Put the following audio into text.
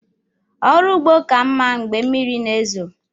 ọrụ ugbo ka mmá Mgbe mmiri na ezo.